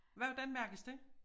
Hvordan mærkes det?